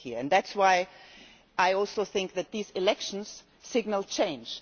That is why I also think that these elections signal change.